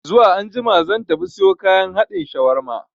Zuwa anjima zan tafi siyo kayan haɗin shawarma